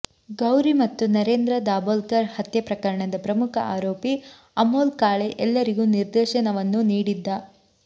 ಗೌರಿ ಮತ್ತು ನರೇಂದ್ರ ದಾಬೋಲ್ಕರ್ ಹತ್ಯೆ ಪ್ರಕರಣದ ಪ್ರಮುಖ ಆರೋಪಿ ಅಮೋಲ್ ಕಾಳೆ ಎಲ್ಲರಿಗೂ ನಿರ್ದೇಶನವನ್ನು ನೀಡಿದ್ದ